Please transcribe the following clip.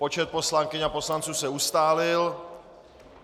Počet poslankyň a poslanců se ustálil.